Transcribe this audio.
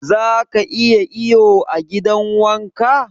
Zaka iya iyo a gidan wanka?